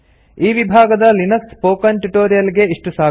ಈ ವಿಭಾಗದ Linux spoken tutorial ಗೆ ಇಷ್ಟು ಸಾಕು